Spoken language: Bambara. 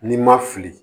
N'i ma fili